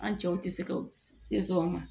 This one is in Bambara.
An cɛw tɛ se ka tɛ sɔn a ma